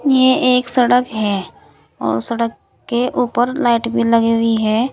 ये एक सड़क है और सड़क के ऊपर लाइट भी लगी हुई है।